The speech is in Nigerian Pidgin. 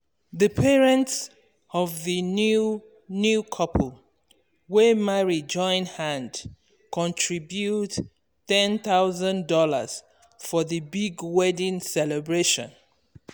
the parents of the um new um new um couple wey marry join hand um contribute one thousand dollars0 for the big wedding celebration.